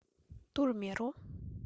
турмеро